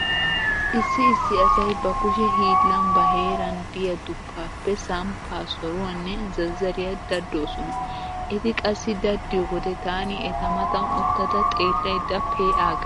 Issi issi asay ba kushe hiillan ba heeran diya duppaappe samppaa, soruwanne zazzariya daddoosona. Eti qassi daddiyo wode taani eta matan uttada xeellaydda pe'aaggays.